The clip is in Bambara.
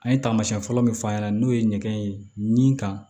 An ye taamasiyɛn fɔlɔ min fɔ a ɲɛna n'o ye ɲɛgɛn ye nin kan